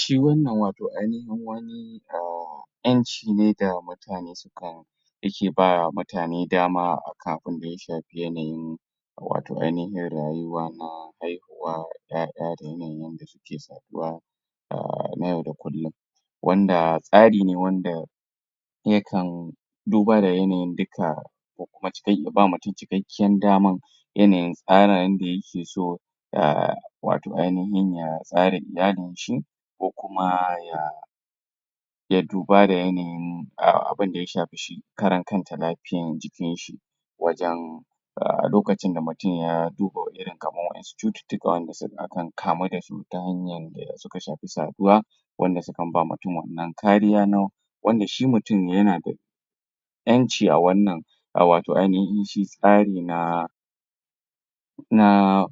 Shi wannan wato ainihin wani ƴanci ne da mutane suka yake ba mutane dama a kan abinda ya shafi yanayin wato ainihin rayuwa na haihuwa ƴaƴa da yanayin da suke saduwa na yau da kullum. wanda tsari ne wanda yakan dauba da yanayin dukka da kuma ya ba mutum cikkakiyan daman yanayin tsara yanda yake so da wato ainihin ya tsara iyalinshi ko kuma ya ya duba da yanayin abunda ya shafi shi karankanta lafiyan jikin shi. wajen A lokacin da mutum ya duba irin kamar wasu cututtuka waɗanda a kan kamu da su ta hanyar da ya shafi saduwa, wanda sukan ba mutum wannan kariya na wanda shi mutum yana da ƴanci a wannan a wato shi tsari na na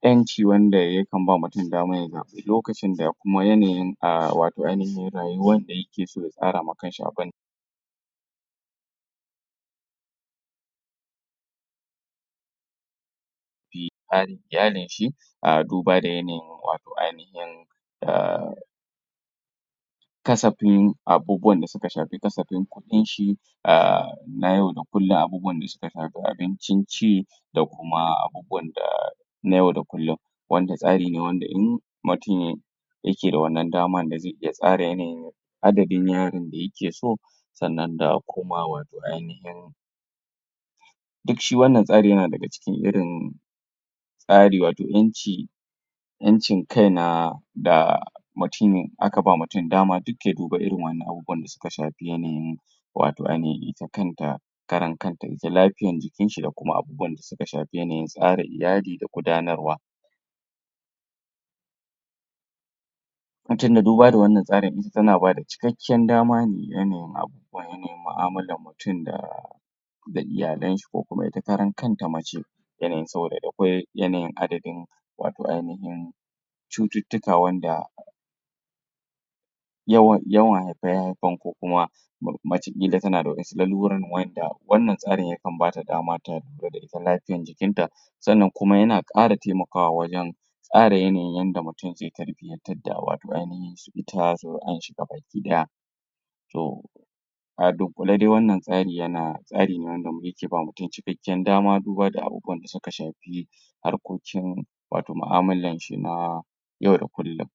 ƴanci wanda yakan ba mutum, damar ya zaɓi lokacin da da kuma yanayin a wato rayuwan da yake so ya tsara ma kanshi abi da bi tsarin iyalinshi duba da yanayin wato ainihin kasafin abubuwan da suka shafi kasafin kuɗinshi a na yau da kullum abubuwan da suka shafi abincin ci da kuma abubuwan da na yau da kullum, wanda tsari ne wanda in mutum ya yake da wannan damar da zai iya tsara yanayin adadin yara da yake so sannan da kuma ainihin duk shi wannan tsarin yana daga cikin irin tsari wato ƴanci ƴancin kai na da mutum aka ba mutum dama duk ya dubi irin wannan abubuwan da suka shafi yanayin wato ainihin ita kanta karan kanta ita lafiyan jikinshi da kuma abu abubuwan tsara iyali da kuma gudanarwa. duba da wannan tsarin ita tana ba da cikakken dama ne ga yanayin abu. yanayin mu'amalar mutum da da iyalanshi ko kuma ita karan kanta mace yanayin saboda da kwai yanayin adadin wato ainihin cututtuka wanda yawan haife-haifen ko kuma. mace ƙila tana da waɗansu lalurorin waɗanda wannan tsarin yakan ba ta dama ta lura da ita lafiyar jikinta, sannan kuma yana ƙara taimakawa wajen tsara yanayin yadda mutum zai tarbinyartar da wato ainahin ita zuri'arshi ga bakai ɗaya. to a dunƙule dai wanna tsari yana tsari ne wanda yake ba mutum cikkakiyar cikakken dama duba da abubuwan da suk shafi harkokin wato mu'amulanshi na yau da kullum.